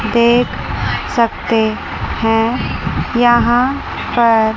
देख सकते हैं यहां पर--